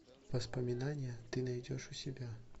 воспоминания ты найдешь у себя